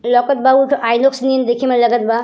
यहाँँ पर देखे में लागत बा।